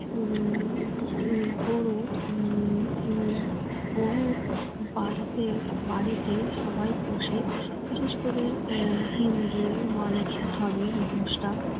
উম গরু উম কোনো বাড়িতে বাড়িতে সবাই পোষে বিশেষ করে আহ হিন্দু মানুষ ধর্মের মানুষরা